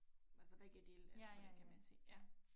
Altså begge dele eller hvordan kan man sige ja